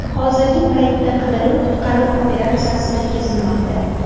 Hozirgi paytda qidiruv-qutqaruv operatsiyasi o‘tkazilmoqda.